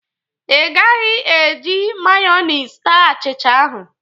Ị gaghị e ji mayonis taa achicha ahụ!